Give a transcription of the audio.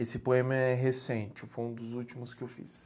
Esse poema é recente, foi um dos últimos que eu fiz.